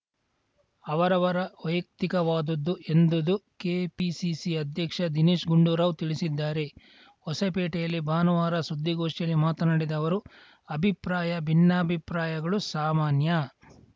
ಅವರವರ ವೈಯಕ್ತಿಕವಾದುದ್ದು ಎಂದುದು ಕೆಪಿಸಿಸಿ ಅಧ್ಯಕ್ಷ ದಿನೇಶ್‌ ಗುಂಡೂರಾವ್‌ ತಿಳಿಸಿದ್ದಾರೆ ಹೊಸಪೇಟೆಯಲ್ಲಿ ಭಾನುವಾರ ಸುದ್ದಿಗೋಷ್ಠಿಯಲ್ಲಿ ಮಾತನಾಡಿದ ಅವರು ಅಭಿಪ್ರಾಯ ಭಿನ್ನಾಭಿಪ್ರಾಯಗಳು ಸಾಮಾನ್ಯ